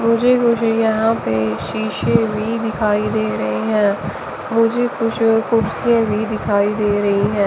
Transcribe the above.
मुझे मुझे यहाँ पे शीशे भी दिखाइ दे रहे है मुझे कुछ कुर्सी भी दिखाइ दे रही है।